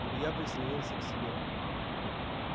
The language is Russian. илья прислонился к стене